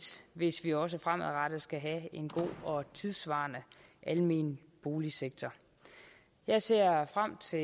hvis vi også fremadrettet skal have en god og tidssvarende almen boligsektor jeg ser frem til